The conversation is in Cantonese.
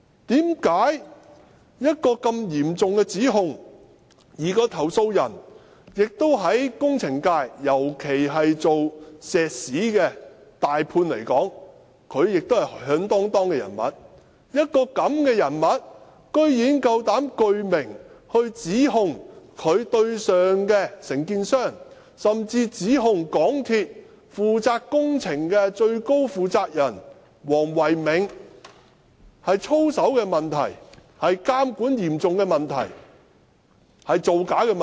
這是嚴重的指控，而該名投訴人在工程界，尤其是以做石屎的"大判"來說，是響噹噹的人物，這樣的人物居然膽敢具名指控在其上線的承建商，甚至指控港鐵公司負責工程的最高負責人黃唯銘有操守問題、有嚴重的監管問題、造假問題。